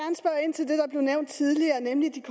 har nævnt tidligere nemlig det